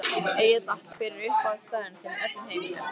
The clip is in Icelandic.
Egill Atla Hver er uppáhaldsstaðurinn þinn í öllum heiminum?